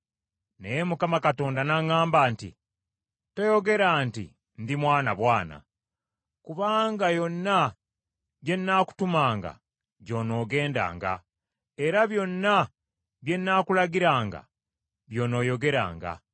Naye Mukama Katonda n’aŋŋamba nti, “Toyogera nti, ‘Ndi mwana bwana;’ kubanga yonna gye nnaakutumanga gy’onoogendanga, era byonna bye nnaakulagiranga by’onooyogeranga.